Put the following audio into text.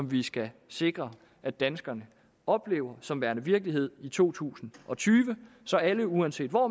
vi skal sikre at danskerne oplever som værende virkelighed i to tusind og tyve så alle uanset hvor